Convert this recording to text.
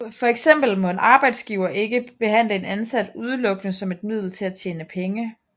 For eksempel må en arbejdsgiver ikke behandle en ansat udelukkende som et middel til at tjene penge